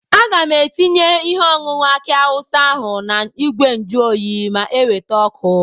Aga m etinye ihe ọnụnọ aki awụsa ahụ na ìgwè njuoyi ma eweta ọkụ.